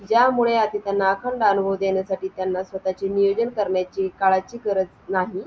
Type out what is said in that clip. जानेवारी ते फेब आता पुढचे फेब्रुवारीच्या दहा तारखेला परत आपली एक meeting होणार तेव्हा सुद्धा आपण पैसे गोळा करणार .